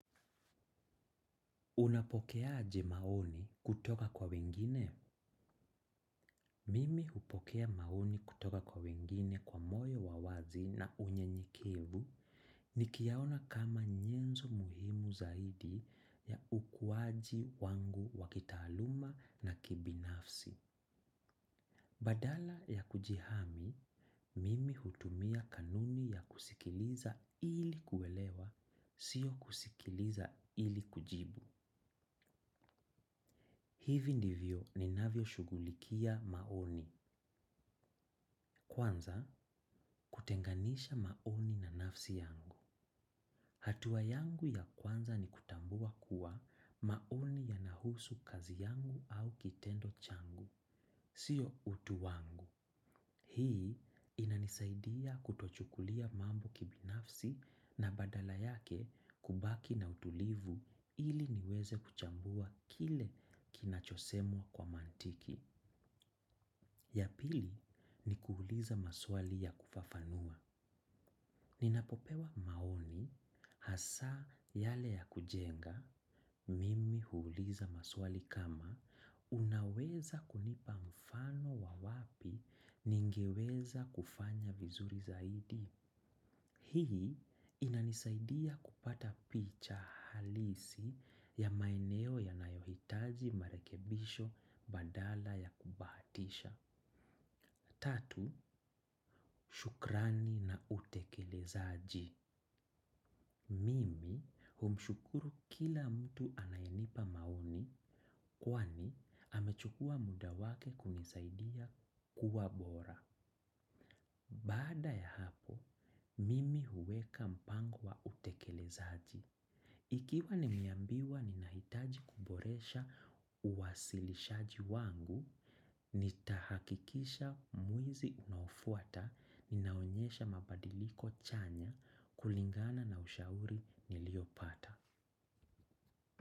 Unapokea aje maoni kutoka kwa wengine? Mimi hupokea maoni kutoka kwa wengine kwa moyo wawazi na unyenyekevu nikiyaona kama nyenzo muhimu zaidi ya ukuwaji wangu wakitaluma na kibinafsi. Badala ya kijihami mimi hutumia kanuni ya kusikiliza ili kuelewa sio kusikiliza ili kujibu. Hivi ndivyo ninavyo shughulikia maoni. Kwanza, kutenganisha maoni na nafsi yangu. Hatua yangu ya kwanza ni kutambua kuwa maoni yanahusu kazi yangu au kitendo changu. Sio utu wangu. Hii inanisaidia kutochukulia mambo kibinafsi na badala yake kubaki na utulivu ili niweze kuchambua kile kinachosemwa kwa mantiki. Ya pili ni kuuliza maswali ya kufafanua. Ninapopewa maoni hasa yale ya kujenga, mimi huuliza maswali kama unaweza kunipa mfano wa wapi ningeweza kufanya vizuri zaidi. Hii inanisaidia kupata picha halisi ya maeneo yanayo hitaji marekebisho badala ya kubahatisha. Tatu, shukrani na utekelezaji. Mimi humshukuru kila mtu anayenipa maoni kwani amechukua muda wake kunisaidia kuwa bora. Baada ya hapo, mimi huweka mpango wa utekelezaji. Ikiwa nimeambiwa ninahitaji kuboresha uwasilishaji wangu, nitahakikisha mwezi unaofuata ninaonyesha mabadiliko chanya kulingana na ushauri niliopata.